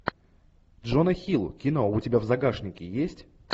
джона хилл кино у тебя в загашнике есть